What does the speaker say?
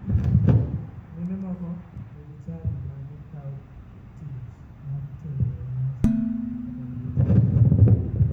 Mine moko nigi chadi ma gikao tich mar tedo e nyasi kata liete bende.